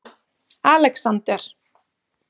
Alexander